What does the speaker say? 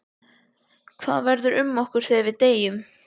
Axel: Hvað verður um okkur þegar við deyjum?